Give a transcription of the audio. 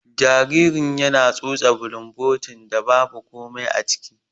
Jaririn yana tsotse bulumbotin da babu komai aciki.